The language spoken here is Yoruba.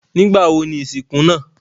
Nígbàwo ni isinku naa?